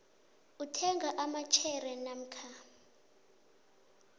uthenga amashare namkha